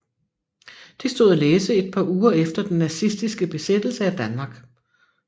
Det stod at læse et par uger efter den nazistiske besættelse af Danmark